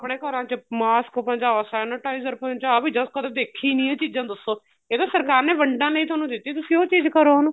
ਆਪਣੇ ਘਰਾਂ ਚ mask ਪਹੁੰਚਾਓ sanitizer ਪਹੁੰਚਾਓ ਵੀ ਦੱਸ ਕਦੀ ਦੇਖੀ ਨੀ ਇਹ ਚੀਜ਼ਾ ਦੱਸੋ ਇਹ ਤਾਂ ਸਰਕਾਰ ਨੇ ਵੰਡਣ ਲਈ ਤੁਹਾਨੂੰ ਦਿੱਤੀ ਤੁਸੀਂ ਉਹ ਚੀਜ਼ ਕਰੋ ਉਹਨੂੰ